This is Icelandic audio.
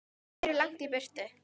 Þeir eru langt í burtu.